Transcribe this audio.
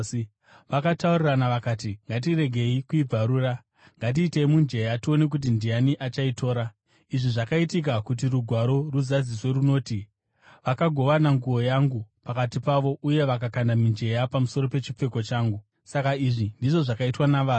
Vakataurirana vakati, “Ngatiregei kuibvarura. Ngatikandei mujenya tione kuti ndiani achaitora.” Izvi zvakaitika kuti Rugwaro ruzadziswe runoti: “Vakagovana nguo yangu pakati pavo uye vakakanda mijenya pamusoro pechipfeko changu.” Saka izvi ndizvo zvakaitwa navarwi.